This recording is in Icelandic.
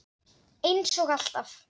Eins og alltaf.